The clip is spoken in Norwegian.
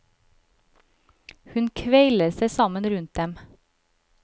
Hun kveiler seg sammen rundt dem.